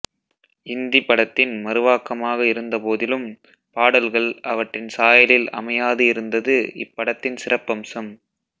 இந்திப் படத்தின் மறுவாக்கமாக இருந்தபோதிலும் பாடல்கள் அவற்றின் சாயலில் அமையாது இருந்தது இப்படத்தின் சிறப்பம்சம்